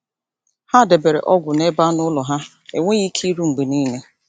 Ha debere ọgwụ n’ebe anụ ụlọ ha enweghị ike iru mgbe niile.